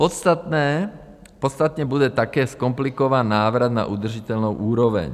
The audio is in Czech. Podstatně bude také zkomplikován návrat na udržitelnou úroveň.